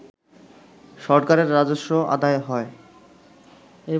সরকারের রাজস্ব আদায় হয়